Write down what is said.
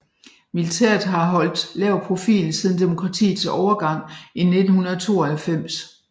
Militæret har holdt lav profil siden demokratiets overgang i 1992